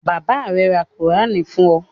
Bàbá rẹ ra Kùránì fún ọ?